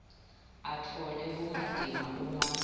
atfole bumatima uma